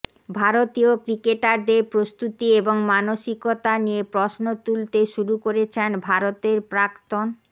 ভারতীয় ক্রিকেটারদের প্রস্তুতি এবং মানসিকতা নিয়ে প্রশ্ন তুলতে শুরু করেছেন ভারতের প্রাক্তন